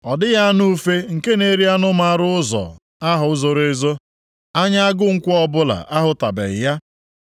Ọ dịghị anụ ufe nke na-eri anụ maara ụzọ ahụ zoro ezo; anya agụ nkwọ ọbụla ahụtụbeghị ya.